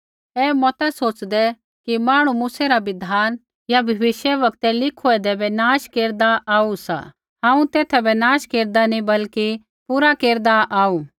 ऐ मता सोच़दै कि मांहणु मूसै रा बिधान या भविष्यवक्तै लिखूएंदै बै नष्ट केरदा आऊ सा हांऊँ तेथा बै नष्ट केरदा नी बल्कि पूरा केरदा आऊ